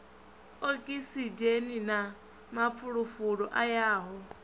okisidzheni na mafulufulu a yaho